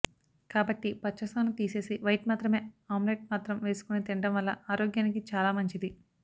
కాబట్టి పచ్చసొన తీసేసి వైట్ మాత్రమే ఆమ్లేట్ మాత్రం వేసుకొని తినడం వల్ల ఆరోగ్యానికి చాలా మంచిది